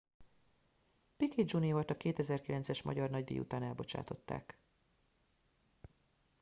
piquet jr.-t a 2009-es magyar nagydíj után elbocsátották